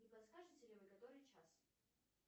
не подскажите ли вы который час